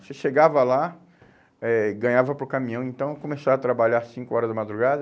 Você chegava lá, eh ganhava para o caminhão, então começava a trabalhar cinco horas da madrugada,